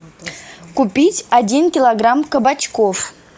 купить один килограмм кабачков